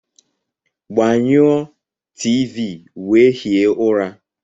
Gbanyụọ T.v wee hie ụra!